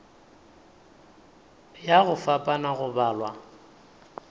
ya go fapana go balwa